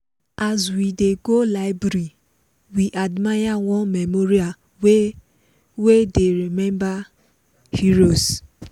as we dey go library we admire one memorial wey wey dey remember heroes.